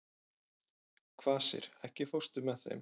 Kvasir, ekki fórstu með þeim?